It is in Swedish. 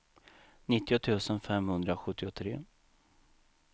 nittio tusen femhundrasjuttiotre